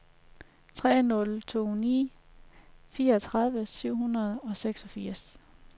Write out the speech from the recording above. tre nul to ni fireogtredive syv hundrede og seksogfirs